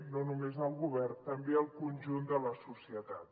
no només el govern també el conjunt de la societat